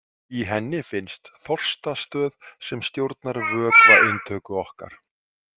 Í henni finnst þorstastöð sem stjórnar vökvainntöku okkar.